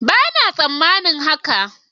Bana tsammanin haka.